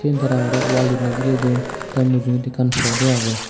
sin tara aro wall dinedi gire dun the mujungedi ekkan poto agey.